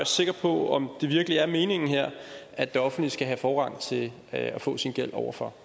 sikker på om det virkelig er meningen her at det offentlige skal have forrang til at få sin gæld over for